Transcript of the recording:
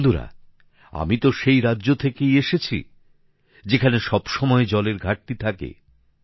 বন্ধুরা আমি তো সেই রাজ্য থেকে এসেছি যেখানে সবসময়ই জলের ঘাটতি থাকে